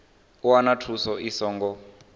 u wana thuso i songo